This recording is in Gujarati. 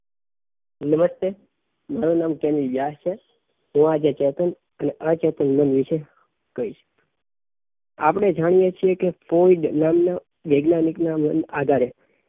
નમસ્તે મારુ નામ કેલી વ્યાસ છે હું આજે ચેતન અને અચેતન મન વિશે કહીશ આપણે જાણીયે છીએ કે ફ્લોયડ નામનાં વૈજ્ઞાનિક નાં આધારે